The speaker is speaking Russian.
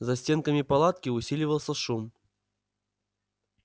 за стенками палатки усиливался шум